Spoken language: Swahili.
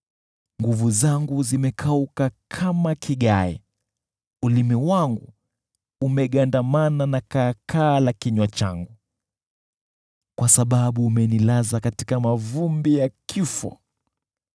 Nguvu zangu zimekauka kama kigae, ulimi wangu umegandamana na kaakaa la kinywa changu, kwa sababu umenilaza katika mavumbi ya kifo.